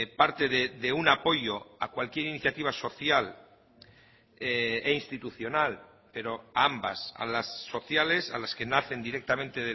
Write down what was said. parte de un apoyo a cualquier iniciativa social e institucional pero a ambas a las sociales a las que nacen directamente